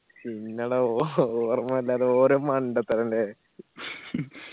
ഇല്ലടാ ഓ ഓർമില്ലാതെ ഓരോ മണ്ടത്തരം അല്ലെ